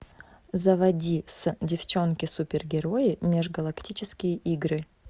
заводи девчонки супергерои межгалактические игры